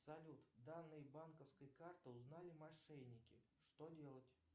салют данные банковской карты узнали мошенники что делать